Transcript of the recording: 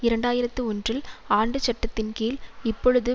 இரண்டு ஆயிரத்தி ஒன்றில் ஆண்டு சட்டத்தின் கீழ் இப்பொழுது